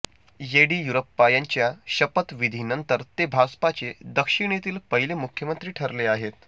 येडियुरप्पा यांच्या शपथ विधीनंतर ते भाजपचे दक्षिणेतील पहिले मुख्यमंत्री ठरले आहेत